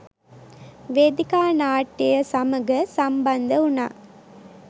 වේදිකා නාට්‍යය සමග සම්බන්ධ වුණා